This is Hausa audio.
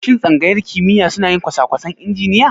Shin Tsangayar kimiyya suna yin kosakwasan injiniya?